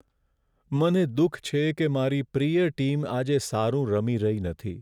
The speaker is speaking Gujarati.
મને દુઃખ છે કે મારી પ્રિય ટીમ આજે સારું રમી રહી નથી.